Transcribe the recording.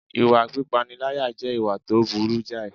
Ìwà pípániláyà jẹ́ ìwà tó burú jàì